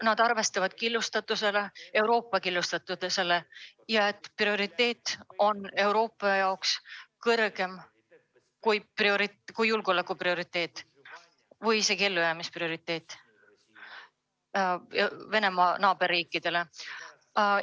Nad arvestavad Euroopa killustatusega ja et on Euroopa jaoks kõrgem prioriteet kui julgeolek või isegi Venemaa naaberriikide ellujäämine.